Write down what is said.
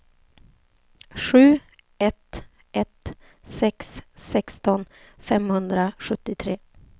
sju ett ett sex sexton femhundrasjuttiotre